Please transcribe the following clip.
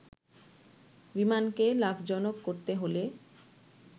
বিমানকে লাভজনক করতে হলে